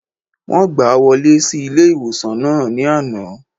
Wọ́n gbàá wọlé sí ilé-ìwòsàn náà ní àná